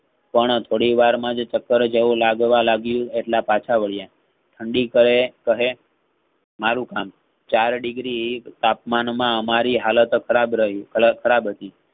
પણ થોડી વર્મા જ સફર જેવું લાગવા લાગ્યું એટલા પાછા વળ્યાં ઠંડી પડે કહે મારુ કામ ચાર degree તાપમાન માં અમારી હાલત ખરાબ રહી હાલત ખરાબ હતી.